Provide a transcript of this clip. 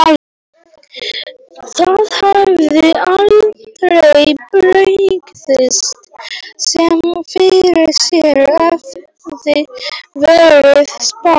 Það hefði aldrei brugðist sem fyrir sér hefði verið spáð.